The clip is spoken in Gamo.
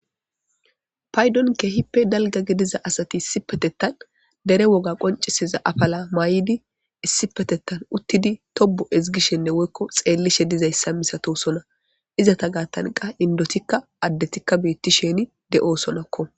paydon ke hippe dalga gediza asati issipetettan dere woga qoncisiza afala maay7idi issipetettan uttidi tobo ezgishenne woykko xeellishe dizayssa misato sona izata gaattanqa indotikka addetikka beettisheni de7o sonakko